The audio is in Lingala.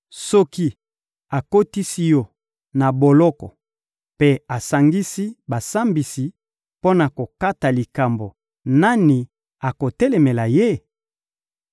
Soki akotisi yo na boloko mpe asangisi basambisi mpo na kokata likambo, nani akotelemela Ye?